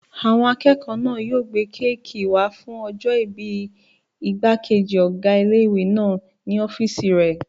Àwọn akẹ́kọ̀ọ́ náà yóò gbé kéèkì wá fún ọjọ́-ìbí ìgbàkejì ọgá ilé-ìwé náà ní ọ́fìsì rẹ̀